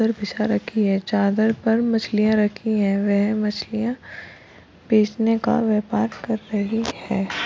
इधर फिशा रखी है चादर पर मलिया रखी हैवे मछलिया बेचने का व्यापार कर रही है।